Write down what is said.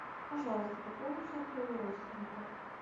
пожалуйста пополни счет моего родственника